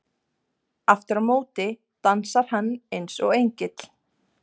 . aftur á móti dansar hann eins og engill.